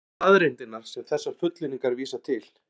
Hvar eru staðreyndirnar sem þessar fullyrðingar vísa til?